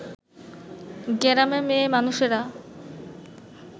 গেরামে মেয়ে মানুষেরা